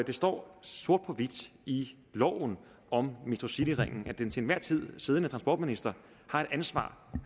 det står sort på hvidt i loven om metrocityringen at den til enhver tid siddende transportminister har et ansvar